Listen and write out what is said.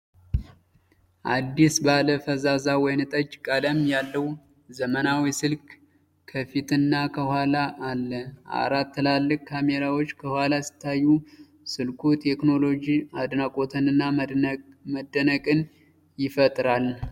አዲስ ባለ ፈዛዛ ወይንጠጅ ቀለም ያለው ዘመናዊ ስልክ ከፊትና ከኋላ አለ። አራት ትላልቅ ካሜራዎች ከኋላ ሲታዩ፣ ስልኩ የቴክኖሎጂ አድናቆትንና መደነቅን ይፈጥራል።